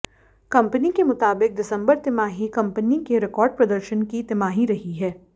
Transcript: company के मुताबिक दिसंबर तिमाही कंपनी के रिकॉर्ड प्रदर्शन की तिमाही रही है